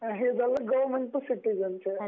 हे government to citizen च्या